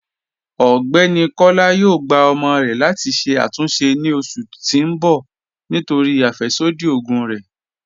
Ọgbẹ́ni Kọla yóò gbà ọ̀mọ rè láti ṣè àtúnṣe ni oṣù tì n bọ̀ nítorí afẹ́ṣodí ogun rè.